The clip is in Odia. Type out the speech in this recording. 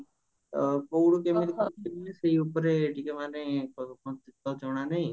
କଉଠୁ କେମିତି ସେଇ ଉପରେ ଟିକେ ମାନେ ଜଣା ନାହି